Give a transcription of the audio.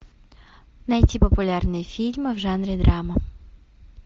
найти популярные фильмы в жанре драма